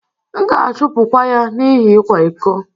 M'gāchupu kwa ya n'ihi ikwa-iko